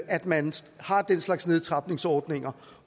at man har den slags nedtrapningsordninger